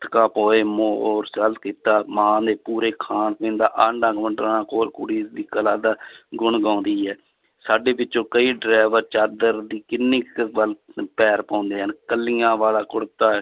ਕੀਤਾ, ਮਾਂ ਨੇ ਪੂਰੇ ਖਾਣ ਪੀਣ ਦਾ ਆਂਢਾ ਗੁਆਂਢਣਾ ਕੋਲ ਕੁੜੀ ਦੀ ਕਲਾ ਦਾ ਗੁਣ ਗਾਉਂਦੀ ਹੈ, ਸਾਡੇ ਵਿੱਚੋਂ ਕਈ driver ਚਾਦਰ ਦੀ ਕਿੰਨੀ ਕੁ ਪੈਰ ਪਾਉਂਦੇ ਹਨ, ਇਕੱਲੀਆਂ ਵਾਲਾ ਕੁੜਤਾ